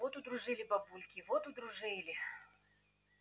вот удружили бабульки вот удружили